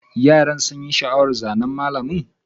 Yaran sun yi sha'awar zanen mallamin.